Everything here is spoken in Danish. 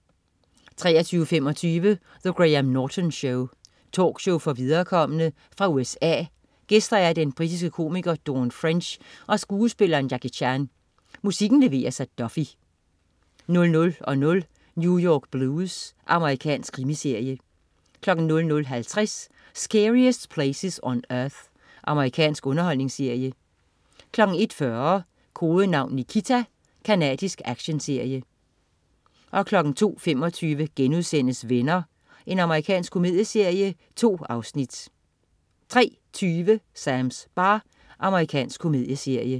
23.25 The Graham Norton Show. Talkshow for viderekomne. Fra USA. Gæster: Den britiske komiker Dawn French og skuespilleren Jackie Chan. Musikken leveres af Duffy 00.00 New York Blues. Amerikansk krimiserie 00.50 Scariest Places on Earth. Amerikansk underholdningsserie 01.40 Kodenavn Nikita. Canadisk actionserie 02.25 Venner.* Amerikansk komedieserie. 2 afsnit 03.20 Sams bar. Amerikansk komedieserie